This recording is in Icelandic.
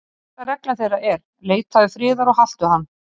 Fyrsta regla þeirra er: Leitaðu friðar og haltu hann.